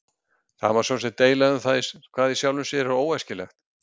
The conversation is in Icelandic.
Það má sjálfsagt deila um hvað í sjálfu sér er óæskilegt.